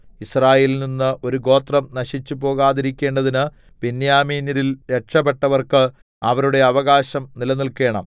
യിസ്രായേലിൽനിന്ന് ഒരു ഗോത്രം നശിച്ചുപോകാതിരിക്കേണ്ടതിന് ബെന്യാമീന്യരിൽ രക്ഷപ്പെട്ടവർക്ക് അവരുടെ അവകാശം നിലനില്ക്കേണം